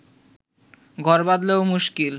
ঘর বাঁধলেও মুশকিল